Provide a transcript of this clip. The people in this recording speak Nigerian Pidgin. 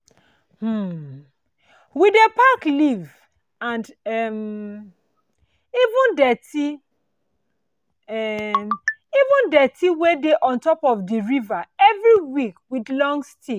um we dey pack leave and um even dirty um even dirty wey dey on top of di river every week with long stick